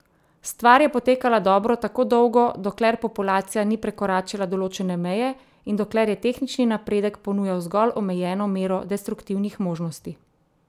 Stvar je potekala dobro tako dolgo, dokler populacija ni prekoračila določene meje in dokler je tehnični napredek ponujal zgolj omejeno mero destruktivnih možnosti.